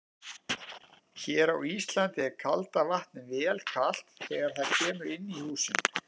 Hér á Íslandi er kalda vatnið vel kalt þegar það kemur inn í húsin.